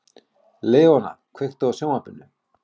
Leóna, kveiktu á sjónvarpinu.